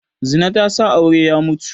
Zina tana sa aure ya mutu